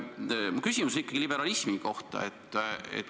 Minu küsimus on ikkagi liberalismi kohta.